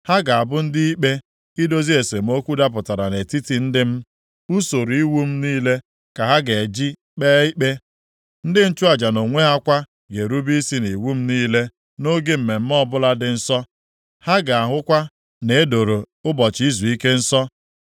“ ‘Ha ga-abụ ndị ikpe, idozi esemokwu dapụtara nʼetiti ndị m. Usoro iwu m niile ka ha ga-eji kpee ikpe. Ndị nchụaja nʼonwe ha kwa ga-erube isi nʼiwu m niile nʼoge mmemme ọbụla dị nsọ. Ha ga-ahụkwa na e doro ụbọchị izuike nsọ.